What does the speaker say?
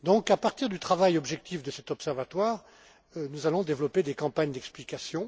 À partir du travail objectif de cet observatoire, nous allons donc développer des campagnes d'explication.